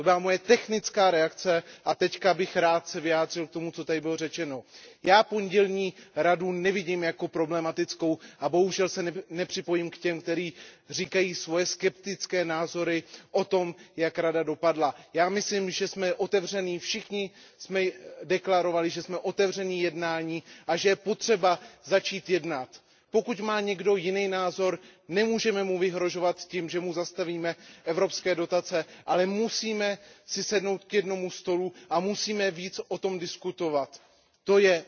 To byla moje technická reakce, a teď bych se rád vyjádřil k tomu, co tady bylo řečeno. Já pondělní Radu nevidím jako problematickou a bohužel se nepřipojím k těm, kteří říkají svoje skeptické názory o tom, jak Rada dopadla. Já myslím, že jsme všichni deklarovali, že jsme otevření k jednání a že je potřeba začít jednat. Pokud má někdo jiný názor, nemůžeme mu vyhrožovat tím, že mu zastavíme evropské dotace, ale musíme si sednout k jednomu stolu a musíme o tom více diskutovat.